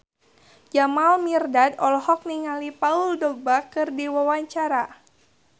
Jamal Mirdad olohok ningali Paul Dogba keur diwawancara